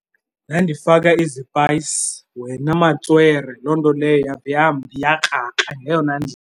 Ndandifaka izipayisi wena matswere, loo nto leyo yave yambi yakrakra ngeyona ndlela